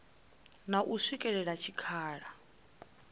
na u swikela kha tshikhala